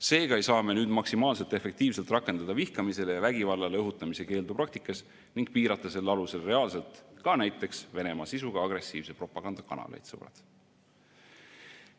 Seega ei saa me nüüd maksimaalselt efektiivselt rakendada vihkamisele ja vägivallale õhutamise keeldu praktikas ning piirata selle alusel reaalselt ka näiteks Venemaa sisuga agressiivse propaganda kanaleid, sõbrad.